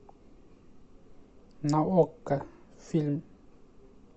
на окко фильм